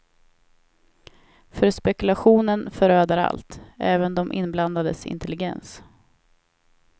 För spekulationen föröder allt, även de inblandades intelligens.